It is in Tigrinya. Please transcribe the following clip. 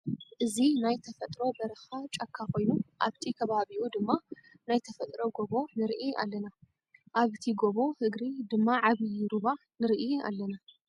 እዚ ናይ ተፈጥሮ በረካ ጫካ ኮይኑ ኣብቲ ከባቢኡ ድማ ናይ ተፈጥሮ ጎቦ ንርኢ ኣለና። ኣብ እቲ ጎቦ እግሪ ድማ ዓብይ ሩባ ንርኢ ኣለና ።